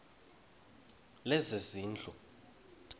lezezindlu